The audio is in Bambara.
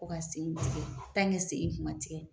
Ko ka sen in tigɛ, sen in dun ma tigɛ